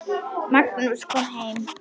Magnús kom heim.